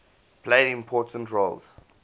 played important roles